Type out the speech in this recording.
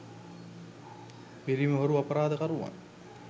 පිරිමි හොරු අපරාධ කරුවන්